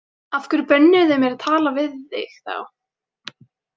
Af hverju bönnuðu þau mér að tala við þig þá?